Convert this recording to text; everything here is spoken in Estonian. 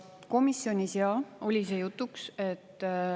Komisjonis, jaa, oli see jutuks.